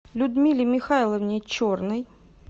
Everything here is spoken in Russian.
людмиле михайловне черной